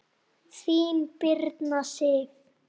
Þín, Birna Sif.